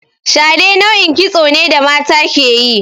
Shade nau'in kitso ne da mata ke yi.